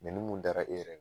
Nɛni mun dara e yɛrɛ kan